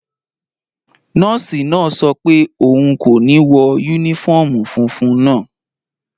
Nọ́ọ̀sì náà sọ pé òun kò ní wọ yúnífọ́ọ̀mù funfun naa